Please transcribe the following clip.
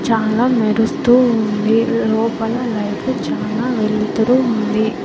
చాలా మెరుస్తూ ఉంది లోపల లైట్లు చానా వెలుతురు ఉంది.